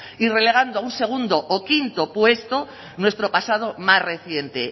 y relegando a un segundo o quinto puesto a nuestro pasado más reciente